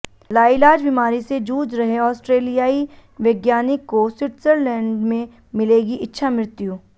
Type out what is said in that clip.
लाइलाज बीमारी से जूझ रहे ऑस्ट्रेलियाई वैज्ञानिक को स्विट्जरलैंड में मिलेगी इच्छा मृत्यु